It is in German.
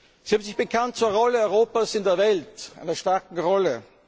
Sie haben sich bekannt zur Rolle Europas in der Welt, zu einer starken Rolle.